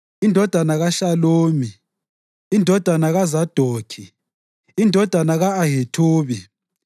indodana kaShalumi, indodana kaZadokhi indodana ka-Ahithubi,